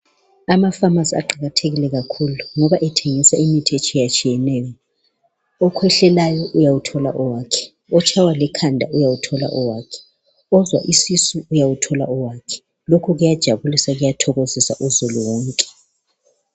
Amaphamacy aqakathekile kakhulu ngoba athengisa imithi etshiyatshiyeneyo okhwehlelayo uyawuthola owakhe otshaywa likhanda uyawuthola owakhe ozwa isisu uyawuthola owakhe lokhu kuyajabulisa kuyathokozisa uzulu wonke